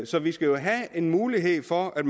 så vi skal have en mulighed for at